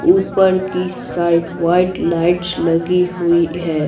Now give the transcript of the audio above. ऊपर की side white lights लगी हुई है।